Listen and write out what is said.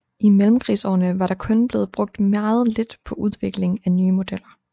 I mellemkrigsårene var der kun blevet brugt meget lidt på udvikling af nye modeller